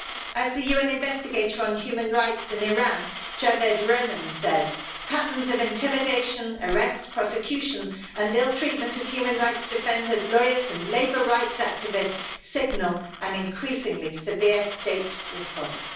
As the UN investigator on human rights in Iran, Javaid Rehman, said, patterns of intimidation, arrest, prosecution and ill treatment of human rights defenders, lawyers and labour rights activists signal an increasingly severe state response.